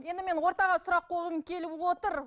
енді мен ортаға сұрақ қойғым келіп отыр